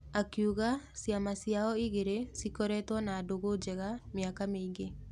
Akiuga ciama ciao igĩrĩ cikoretwo na ndũgũ njega mĩaka mĩingĩ.